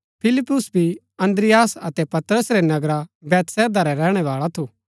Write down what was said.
फिलिप्युस भी अन्द्रियास अतै पतरस रै नगरा बैतसैदा रा रैहणै बाळा थू